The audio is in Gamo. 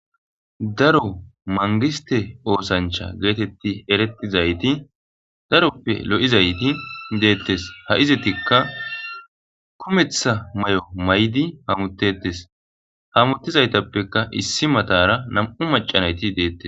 Daro mangiste oosancha geetetti erettizayti daroppe lo'izayti deettes ha izetikka kumeththa may'o maydi hamutetes hamuttizaytappeka issi matara nam'u macanayti deettes.